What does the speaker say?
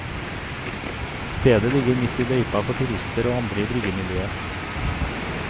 Stedet ligger midt i løypa for turister og andre i bryggemiljøet.